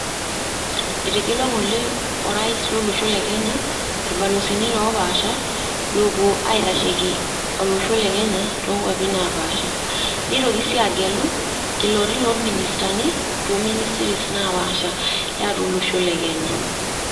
Etegelua ng'ole o rais lolosho le kenya ilbalozini lopaasha lopuo aitasheki olosho le Kenya, tokwapi napaasha. Neitoki si agelu, iloti lo ministani ,to ministries napaasha, tiatua olosho le Kenya.